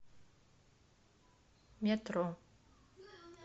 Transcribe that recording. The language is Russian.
метро